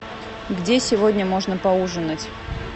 где сегодня можно поужинать